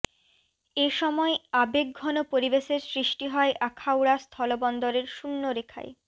এ সময় আবেগঘন পরিবেশের সৃষ্টি হয় আখাউড়া স্থলবন্দরের শূণ্য রেখায়